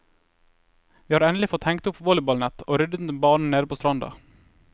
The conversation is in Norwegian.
Vi har endelig fått hengt opp volleyballnett og ryddet en bane nede på stranda.